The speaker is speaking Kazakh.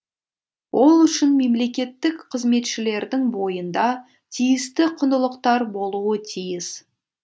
ол үшін мемлекеттік қызметшілердің бойында тиісті құндылықтар болуы тиіс